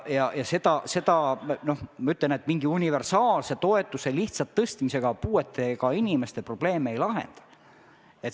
Lihtsalt mingi universaalse toetuse tõstmisega me puuetega inimeste probleeme ei lahenda.